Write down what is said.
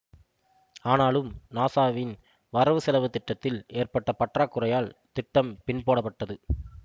ஆனாலும் நாசாவின் வரவுசெலவு திட்டத்தில் ஏற்பட்ட பற்றாக்குறையால் திட்டம் பின்போடப்பட்டது